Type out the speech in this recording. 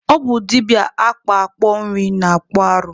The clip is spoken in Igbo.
Ọ bụ dibịa akpakpọ Nri na-akpụ arụ.